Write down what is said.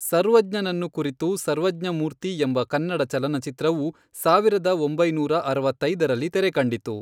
ಸರ್ವಜ್ಞನನ್ನು ಕುರಿತು ಸರ್ವಜ್ಞಮೂರ್ತಿ ಎಂಬ ಕನ್ನಡ ಚಲನಚಿತ್ರವು, ಸಾವಿರದ ಒಂಬೈನೂರ ಅರವತ್ತೈದರಲ್ಲಿ ತೆರೆಕಂಡಿತು.